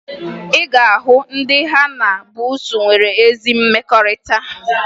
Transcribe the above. Ị ga-ahụ ndị ha na buusu nwere ezi mmekọrịta